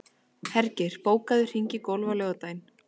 Hergeir, bókaðu hring í golf á laugardaginn.